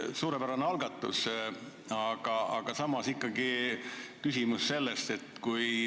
Suurepärane algatus, aga samas tekib ikkagi küsimus.